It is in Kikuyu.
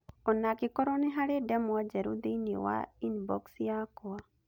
o na angĩkorũo nĩ harĩ ndemwa njerũ thĩinĩ wa inbox yakwa